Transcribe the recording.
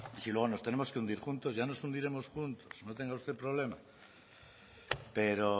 si luego nos tenemos que hundir juntos ya nos hundiremos juntos no tenga usted problema pero